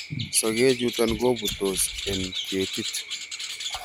sokechuton kobutos en ketit